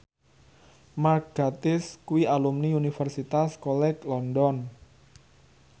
Mark Gatiss kuwi alumni Universitas College London